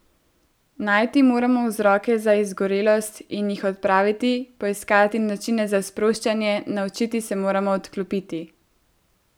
Najti moramo vzroke za izgorelost in jih odpraviti, poiskati načine za sproščanje, naučiti se moramo odklopiti ...